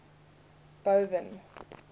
boven